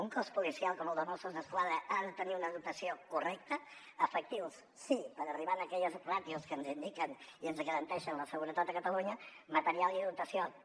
un cos policial com el de mossos d’esquadra ha de tenir una dotació correcta efectius sí per arribar a aquelles ràtios que ens indiquen i ens garanteixen la seguretat a catalunya material i dotació també